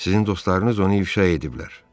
Sizin dostlarınız onu ifşa ediblər.